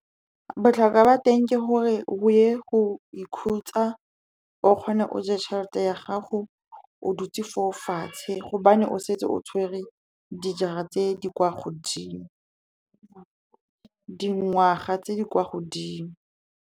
Botlhokwa ba teng ke gore o ye go ikhutsa, o kgone o je tšhelete ya gago o dutse fo fatshe, gobane o setse o tshwere dingwaga tse di kwa godimo.